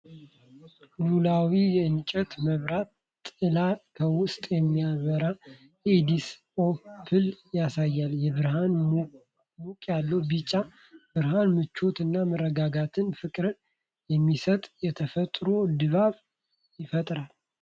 ሉላዊ የእንጨት መብራት ጥላ ከውስጥ የሚያበራ የኤዲሰን አምፖል ያሳያል። የብርሃኑ ሞቅ ያለ ቢጫ ብርሃን ምቾት እና መረጋጋት (ፍቅርን) የሚሰጥ የተፈጥሮ ድባብ ይፈጥራል።